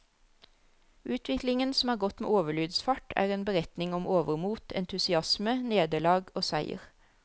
Utviklingen, som har gått med overlydsfart, er en beretning om overmot, entusiasme, nederlag og seier.